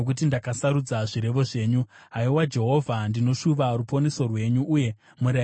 Haiwa Jehovha, ndinoshuva ruponeso rwenyu, uye murayiro wenyu ndiwo mufaro wangu.